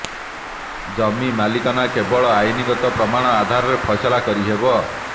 ଜମି ମାଲିକାନା କେବଳ ଆଇନଗତ ପ୍ରମାଣ ଆଧାରରେ ଫଇସାଲା କରିହେବ